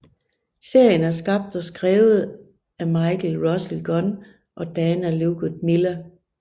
Serien er skabt og skrevet af Michael Russell Gunn og Dana Ledoux Miller